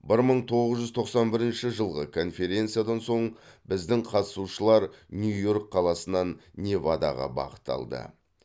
бір мың тоғыз жүз тоқсан бірінші жылғы конференциядан соң біздің қатысушылар нью йорк қаласынан невадаға бағыт алды